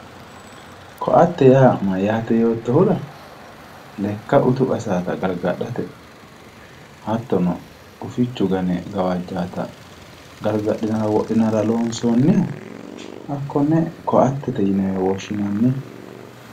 Koatte yaa mayyaate yoottotera lekka utu qassanotta gargadhate hattono gufichu gane gawajatta gargadhate wodhinara loonsoniha kone koattete yinewe woshshinanni.